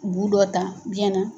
Bu dɔ ta biyɛn na.